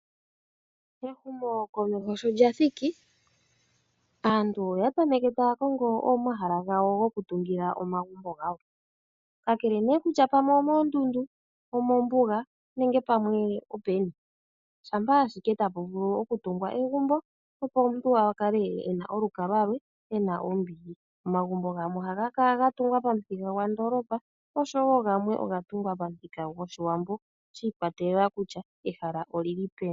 Ehumokomeho sho lya thiki, aantu oya tameke taya kongo omahala gayo gokutungila omagumbo gawo. Kakele nee kutya pamwe omoondundu, omombuga nenge pamwe openi shampa ashike tapu vulu okutungwa egumbo opo omuntu a kale e na olukalwa lwe e na ombili. Omagumbo gamwe ohaga kala ga tungwa pamuthika gwandoolopa osho woo gamwe oga tungwa pamuthika gwoshiwambo shi ikwatelela kutya ehala olyili peni.